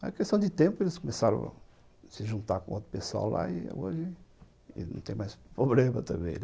Mas é questão de tempo, eles começaram a se juntar com outro pessoal lá e hoje não tem mais problema também, né?